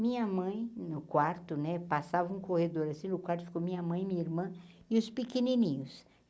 Minha mãe, no quarto né, passava um corredor assim, no quarto ficou minha mãe minha irmã e os pequenininhos.